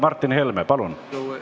Martin Helme, palun!